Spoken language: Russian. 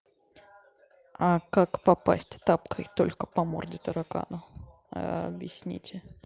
а как попасть тапкой только по морде таракана ээ объясните